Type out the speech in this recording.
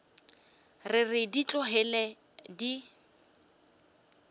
re re di tlogele di